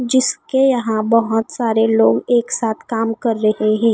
जिसके यहाँ बहोत सारे लोग एक साथ काम कर रहे हैं।